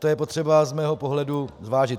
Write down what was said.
To je potřeba z mého pohledu zvážit.